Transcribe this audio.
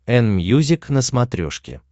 энмьюзик на смотрешке